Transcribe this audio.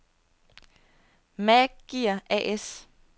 Maag Gear A/S